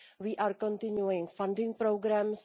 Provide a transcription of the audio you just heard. We are continuing funding programmes.